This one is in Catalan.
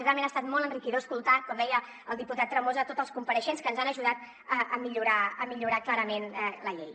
realment ha estat molt enriquidor escoltar com deia el diputat tremosa tots els compareixents que ens han ajudat a millorar clarament la llei